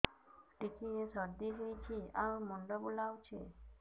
ଟିକିଏ ସର୍ଦ୍ଦି ହେଇଚି ଆଉ ମୁଣ୍ଡ ବୁଲାଉଛି